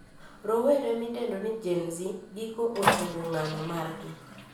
Rowere midendo ni Gen Z giko ochungo ng`anyo margi